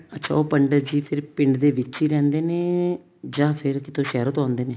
ਅੱਛਾ ਉਹ ਪੰਡਿਤ ਜੀ ਫ਼ੇਰ ਪਿੰਡ ਦੇ ਵਿੱਚ ਹੀ ਰਹਿੰਦੇ ਨੇ ਜਾਂ ਫ਼ੇਰ ਕਿਤੋਂ ਸ਼ਹਿਰੋ ਤੋਂ ਆਉਂਦੇ ਨੇ